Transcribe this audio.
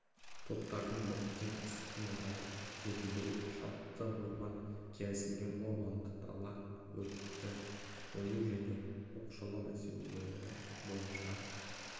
топтардың біріккен іс-қимылдарын жетілдіру шартты орман келісілген орманды дала өрті жою және оқшаулау мәселелері бойынша